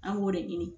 An b'o de ɲini